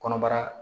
Kɔnɔbara